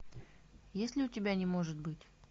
есть ли у тебя не может быть